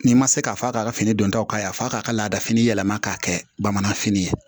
N'i ma se k'a f'a k'a ka fini don taw k'a ye f'a k'a ka laada fini yɛlɛma k'a kɛ bamananfini ye